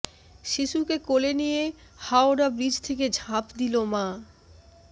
শিশুকে কোলে নিয়ে হাওড়া ব্রিজ থেকে ঝাঁপ দিল মা